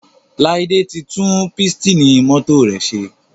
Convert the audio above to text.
Laide tí tún Pístìnì mọ́tò rẹ ṣe.